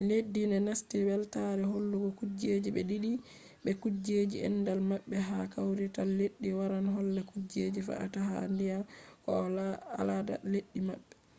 leddi je nasti weltaare hollugo kujeji ɓe diidi be kujeji andal maɓɓe ha kawrital leddi waran holla kujeji fe’ata ha duniya ko bo alada leddi maɓɓe